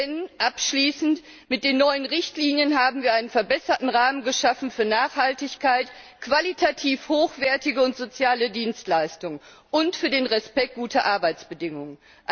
Denn mit den neuen Richtlinien haben wir einen verbesserten Rahmen geschaffen für Nachhaltigkeit, qualitativ hochwertige und soziale Dienstleistung und für die Achtung guter Arbeitsbedingungen.